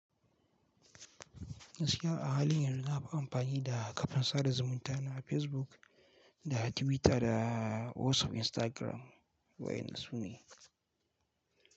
Gaskiya a halin yanzu na fi amfani da kafin sada zumunta na Facebook da Twitter da WhatsApp, Instagram wai nasu ne.